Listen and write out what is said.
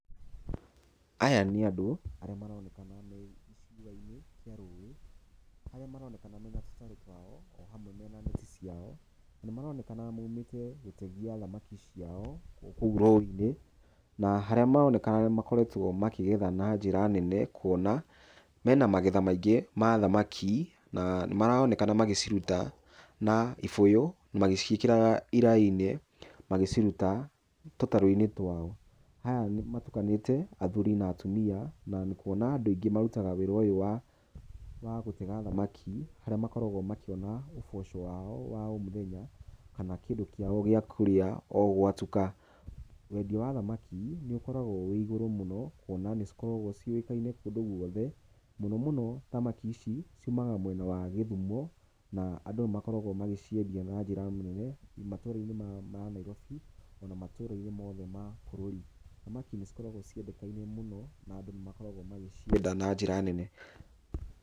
Aya nĩ andũ arĩa maronekana me gĩcua-inĩ kĩa rũĩ, arĩa maronekana mena tũtarũ twao, o hamwe mena neti ciao, na nĩ maronekana maumite gĩtegi ya thamaki ciao o kũu rũĩ-inĩ. Na harĩa maronekana nĩ makoretwo makĩgetha na njĩra nene, kũona, mena magetha maingĩ ma thamaki, na nĩ maroonekana magĩciruta na ibũyũ, magĩciĩkĩraga iraĩ-inĩ, magĩciruta tũtarũ-inĩ twao. Aya nĩ matukanĩte athuri na atumia, na kũona andũ aingĩ marutaga wĩra ũyũ wa gũtega thamaki, harĩa makoragwo makĩona uboco wao wa o muthenya, kana kĩndũ kĩao gĩa kũrĩa o ũ gwa tuka. Wendia wa thamaki nĩ ũkoragwo wĩ igũrũ mũno kwona nĩ cikoragwo ciũĩkaine kũndũ gũothe. Mũnomũno thamaki ici ciumaga mwena wa Gĩthumo na andũ nĩ makoragwo magĩciendia na njĩra nene matũra-inĩ ma Nairobi, o na matũra-inĩ mothe ma bũrũri. Thamaki nĩ cikoragwo ciendekaine mũno, na andũ nĩ makoragwo magĩcienda na njĩra nene.